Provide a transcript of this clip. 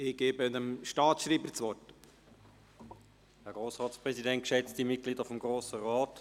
Ich erteile dem Staatsschreiber das Wort.